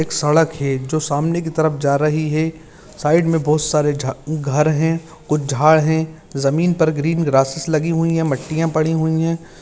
सड़क है जो सामने की तरफ जा रहीं है साइड में बहोत सारे झा घर है कुछ झाड़ है जमीन पर ग्रीन ग्रासेस लगी हुई है मट्टियाँ पड़ी हुई है।